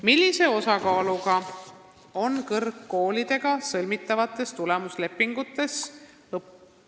"Millise osakaaluga on kõrgkoolidega sõlmitavates tulemuslepingutes [...